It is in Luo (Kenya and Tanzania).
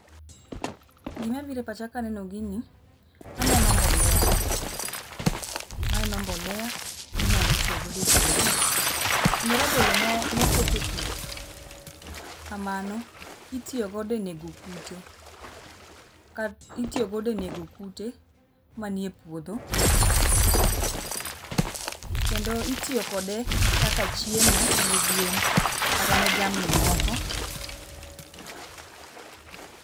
Gima biro e pach akeno gini aneno mbolea, aneno mbolea minyalo tiyo goo e puodho kendo rabolo mokete pii kamano itiyo godo e nego kute. Itiyo godo e nego kute manie puodho kendo itiyo kode kaka chiemo ne gwen kata ne jamni moko